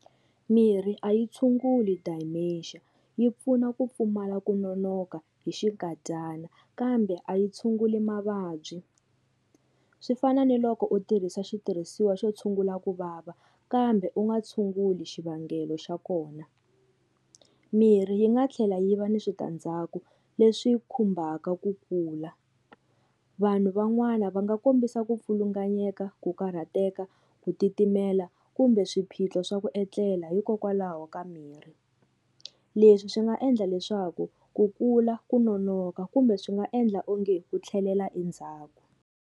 Mirhi a yi tshunguli Dementia yi pfuna ku pfumala ku nonoka hi xinkadyana kambe a yi tshunguli mavabyi swi fana ni loko u tirhisa xitirhisiwa xo tshungula ku vava kambe u nga tshunguli xivangelo xa kona mirhi yi nga tlhela yi va na switandzhaku leswi khumbaka ku kula vanhu van'wana va nga kombisa ku pfilunganyeka ku karhateka ku titimela kumbe swiphiqo swa ku etlela hikokwalaho ka mirhi leswi swi nga endla leswaku ku kula ku nonoka kumbe swi nga endla onge u tlhelela endzhaku.